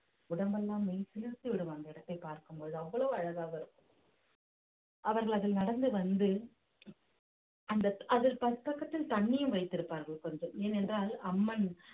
உடம்பெல்லாம் மெய்சிலிர்த்து விடும் அந்த இடத்தை பார்க்கும் பொழுது அவ்வளவு அழகாக வரும் அவர்கள் அதில் நடந்து வந்து அந்த அதில் பக்கத்தில் தண்ணியும் வைத்திருப்பார்கள் கொஞ்சம் ஏனென்றால் அம்மன்